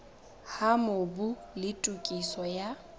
ha mobu le tokiso ya